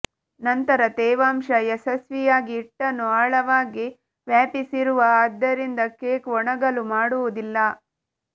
ನಂತರ ತೇವಾಂಶ ಯಶಸ್ವಿಯಾಗಿ ಹಿಟ್ಟನ್ನು ಆಳವಾಗಿ ವ್ಯಾಪಿಸಿರುವ ಆದ್ದರಿಂದ ಕೇಕ್ ಒಣಗಲು ಮಾಡುವುದಿಲ್ಲ